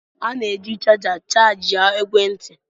A na-eji chaja chajịa ekwentị.